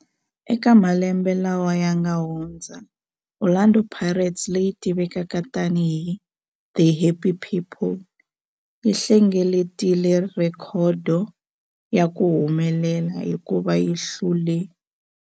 Eka malembe lawa yanga hundza, Orlando Pirates, leyi tivekaka tani hi 'The Happy People', yi hlengeletile rhekhodo ya ku humelela hikuva yi hlule.